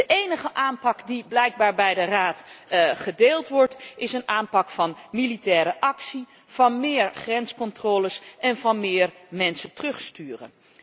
De enige aanpak die blijkbaar bij de Raad gedeeld wordt, is een aanpak van militaire actie, van meer grenscontroles en van meer mensen terugsturen.